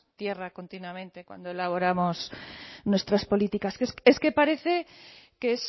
tierra continuamente cuando elaboramos nuestras políticas es que parece que